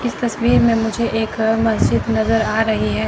इस तस्वीर में मुझे एक मस्जिद नजर आ रही है।